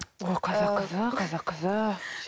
о қазақ қызы қазақ қызы